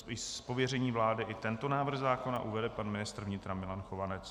Z pověření vlády i tento návrh zákona uvede pan ministr vnitra Milan Chovanec.